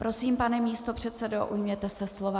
Prosím, pane místopředsedo, ujměte se slova.